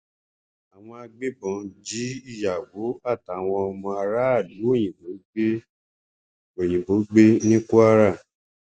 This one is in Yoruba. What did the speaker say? àwọn agbébọn jí ìyàwó àtàwọn ọmọ aráàlú òyìnbó gbé òyìnbó gbé ní kwara